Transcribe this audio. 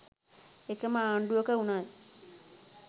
එකම ආණ්ඩුවක වුණත්